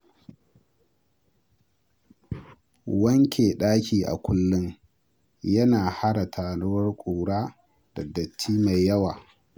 Wanke ɗaki a kullum yana hana taruwar ƙura da datti mai yawa.